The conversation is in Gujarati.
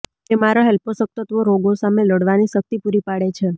તેમાં રહેલ પોષકતત્વો રોગો સામે લડવાની શક્તિ પૂરીપાડે છે